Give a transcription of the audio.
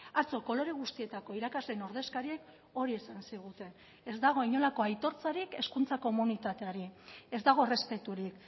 atzo kolore guztietako irakasleen ordezkariek hori esan ziguten ez dago inolako aitortzarik hezkuntza komunitateari ez dago errespeturik